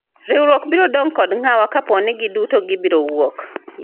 riwruok biro dong' kod ng'awa kapo ni giduto gibiro wuok